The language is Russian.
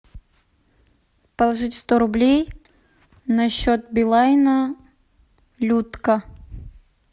положить сто рублей на счет билайна людка